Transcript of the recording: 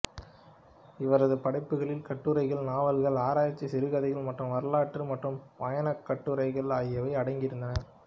இவரது படைப்புகளில் கட்டுரைகள் நாவல்கள் ஆராய்ச்சி சிறுகதைகள் மத வரலாறு மற்றும் பயணக்கட்டுரைகள் ஆகியவை அடங்கி இருந்தன